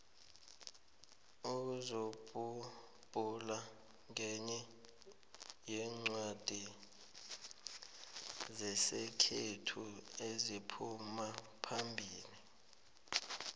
inzubhula nqenye yencwadi zesikhethu eziphumaphambili